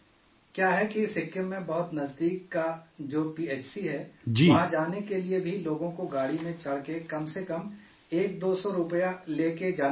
کیا ہے کہ سکم میں بہت نزدیک کا جو پی ایچ سی ہے، وہاں جانے کے لیے بھی لوگوں کو گاڑی میں چڑھ کر کم از کم ایک دو سو روپے لے کر جانا پڑتا ہے